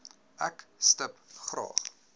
ek stip graag